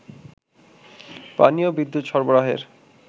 পানি ও বিদ্যুৎ সরবারহের